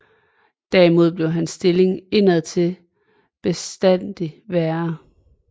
Derimod blev hans stilling indadtil bestandig værre